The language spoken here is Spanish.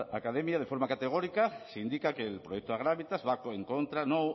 academia de forma categórica se indica que el proyecto agravitas va en contra no